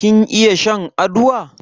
Kin iya shan aduwa?